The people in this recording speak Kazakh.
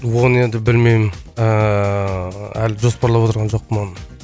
оны енді білмеймін ыыы әлі жоспарлап отырған жоқпын оны